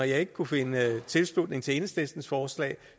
jeg ikke kunne finde tilslutning til enhedslistens forslag